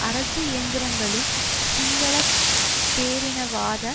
அரசு இயந்திரங்களும் சிங்கள பேரினவாத